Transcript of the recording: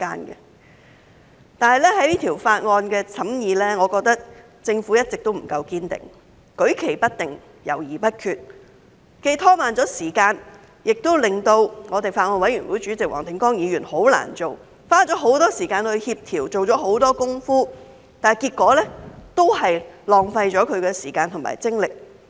不過，在審議《條例草案》的過程中，我認為政府一直不夠堅定，舉棋不定，猶豫不決，既拖慢了時間，也令法案委員會主席黃定光議員十分難做，即使他花了很多時間協調、做了很多工夫，但結果都是浪費了他的時間和精力。